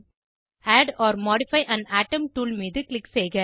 add or modify an atom tool மீது click செய்க